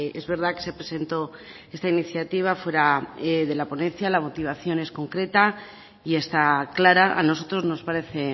es verdad que se presentó esta iniciativa fuera de la ponencia la motivación es concreta y está clara a nosotros nos parece